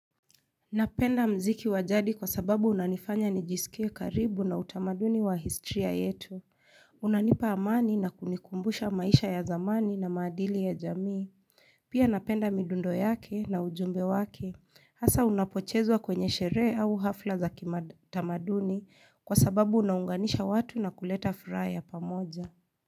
Napenda muziki wajadi kwa sababu unanifanya nijisikie karibu na utamaduni wa historia yetu. Unanipa amani na kunikumbusha maisha ya zamani na maadili ya jamii. Pia napenda midundo yake na ujumbe wake. Hasa unapochezwa kwenye sherehe au hafla za kimatamaduni kwa sababu unaunganisha watu na kuleta furaha ya pamoja.